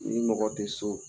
Ni mɔgɔ tɛ so